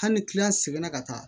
Hali ni seginna ka taa